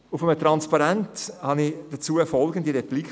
Auf einem Transparent las ich dazu folgende Replik: